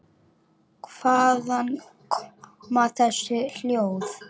Hvaðan koma þessi hljóð?